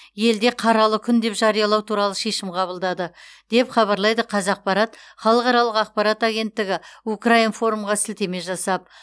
елде қаралы күн деп жариялау туралы шешім қабылдады деп хабарлайды қазақпарат халықаралық ақпарат агенттігі укринформ ға сілтеме жасап